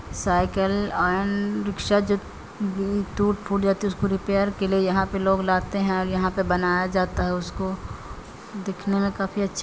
cycle and rickshaw ज-- टूट-फुट जाती है उसको रिपेयर के लिए यहां पे लोग लाते है और यहां पर बनाया जाता है उसको दिखने में काफी अच्छा--